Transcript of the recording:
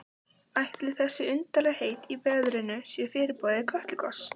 Ætli þessi undarlegheit í veðrinu séu fyrirboði Kötlugoss?